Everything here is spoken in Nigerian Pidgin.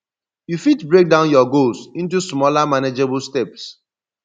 you fit break down your goals into smaller manageable steps